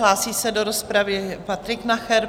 Hlásí se do rozpravy Patrik Nacher.